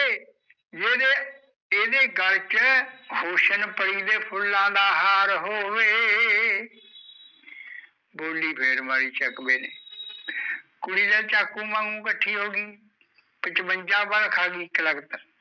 ਇਹਦੇ ਗਲ਼ ਚ, ਹੋਸ਼ਨਪਰੀ ਦੇ ਫੁੱਲਾ ਦਾ ਹਾਰ ਹੋਵੇ ਬੋਲੀ ਫੇਰ ਮਾਰੀ ਬਾਈ ਚਕਵੇ ਨੇ ਕੁੜੀ ਤਾਂ ਚਾਕੂ ਵਾਂਗੂ ਕੱਠੀ ਹੋਗੀ ਪਚਵੰਜਾ ਵਾਰ ਖਾਲੀ ਇੱਕ ਲਕਤ